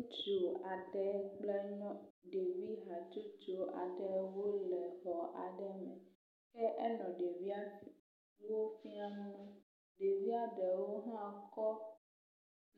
Ŋutsu aɖe kple nyɔnu ɖevi hatsotso aɖewo le dɔ aɖe wɔm ke enɔ ɖevia wo fiam, ɖevia ɖe hã kɔ